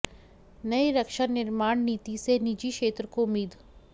नई रक्षा निर्माण नीति से निजी क्षेत्र को उम्मीद